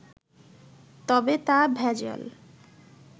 তবে তা ভেজাল